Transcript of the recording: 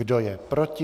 Kdo je proti?